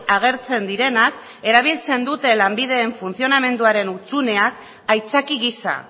agertzen direnak erabiltzen dute lanbideren funtzionamenduaren hutsuneak aitzaki gisa